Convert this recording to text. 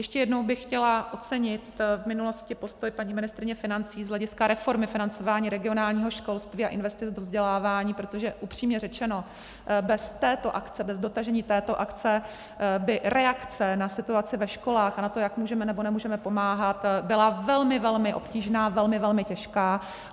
Ještě jednou bych chtěla ocenit v minulosti postoj paní ministryně financí z hlediska reformy financování regionálního školství a investic do vzdělávání, protože upřímně řečeno, bez této akce, bez dotažení této akce by reakce na situaci ve školách a na to, jak můžeme nebo nemůžeme pomáhat, byla velmi velmi obtížná, velmi velmi těžká.